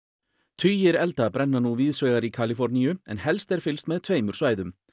tugir elda brenna nú víðsvegar í Kaliforníu en helst er fylgst með tveimur svæðum